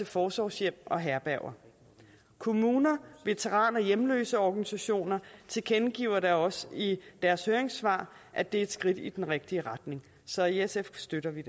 forsorgshjem og herberger kommuner og veteran og hjemløseorganisationer tilkendegiver da også i deres høringssvar at det er et skridt i den rigtige retning så i sf støtter vi